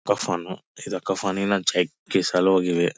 ಕಫನ್ ಇದು ಕಫನ್ ಇನ್ನೊಂದ್ ಪೀಸ್ ಅಲ್ಲಿ ಹೋಗಿದೆ.